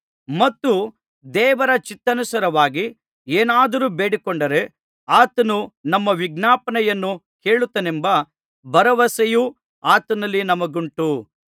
ಮತ್ತು ದೇವರ ಚಿತ್ತಾನುಸಾರವಾಗಿ ಏನಾದರೂ ಬೇಡಿಕೊಂಡರೆ ಆತನು ನಮ್ಮ ವಿಜ್ಞಾಪನೆಯನ್ನು ಕೇಳುತ್ತಾನೆಂಬ ಭರವಸೆಯು ಆತನಲ್ಲಿ ನಮಗುಂಟು